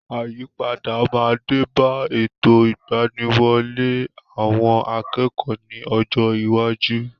Àyípadà máa dé bá ètò ìgbaniwọlé àwọn akẹ́kọ̀ọ́ ní ọjọ́ iwájú.